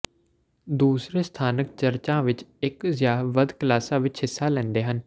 ਦੂਸਰੇ ਸਥਾਨਕ ਚਰਚਾਂ ਵਿਚ ਇਕ ਜਾਂ ਵੱਧ ਕਲਾਸਾਂ ਵਿਚ ਹਿੱਸਾ ਲੈਂਦੇ ਹਨ